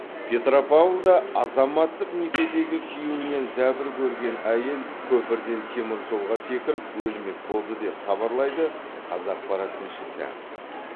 петропавлда азаматтық некедегі күйеуінен зәбір көрген әйел көпірден теміржолға секіріп өлмек болды деп хабарлайды қазақпарат тілшісі